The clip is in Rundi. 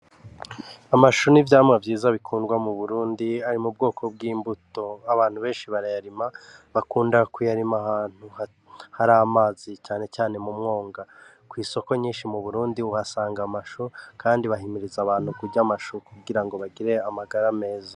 Amashu n'ivyamwa vyiza bikundwa mu burundi ari mu bwoko bw'imbuto abantu benshi barayarima bakunda ku yarima ahantu hari amazi canecane mu mwonga kw'isoko nyinshi mu burundi uhasanga amashu, kandi bahimiriza abantu kurya amashu kugira ngo bagire amagara meza.